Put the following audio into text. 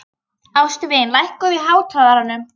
Ástvin, lækkaðu í hátalaranum.